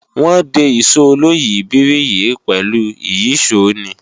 Wọ́n de Ìṣó oloyìibírí yìí pẹ̀lú ìyíṣòó ni